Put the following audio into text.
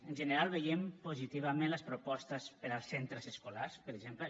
en general veiem positivament les propostes per als centres escolars per exemple